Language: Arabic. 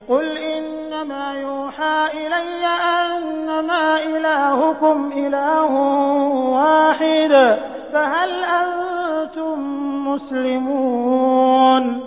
قُلْ إِنَّمَا يُوحَىٰ إِلَيَّ أَنَّمَا إِلَٰهُكُمْ إِلَٰهٌ وَاحِدٌ ۖ فَهَلْ أَنتُم مُّسْلِمُونَ